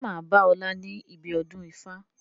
Ṣé máa bá ọ̀la níbi ọdún ifá?